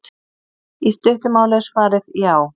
Í stuttu máli er svarið já.